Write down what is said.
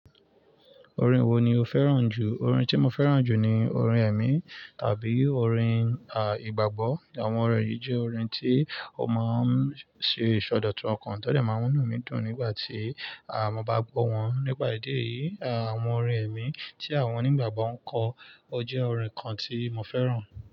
Orin wo ni o fẹ́ràn jù? Orin tí mo fẹ́ràn jù ni orin ẹ̀mí tàbí orin, ah, ìgbàgbọ́. Àwọn orin yìí jẹ́ orin tí ó máa ń ṣe ìsọdọ̀tun ọkàn tó dẹ̀ máa ń mú inú mi dùn nígbà tí, ah, mo bá gbọ́ wọn. Nípa ìdí yìí, ah, àwọn orin ẹ̀mí tí àwọn onígbàgbọ́ ń kọ, ó jẹ́ orin kan tí mo fẹ́ràn.